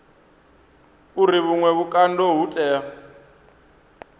uri vhuṅwe vhukando ho tea